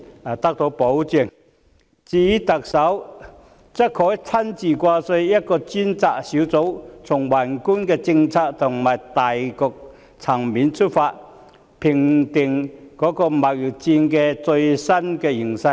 至於特首，她可成立一個由她親自掛帥的專責小組，從宏觀的政策和大局層面出發，定期評估貿易戰的最新形勢。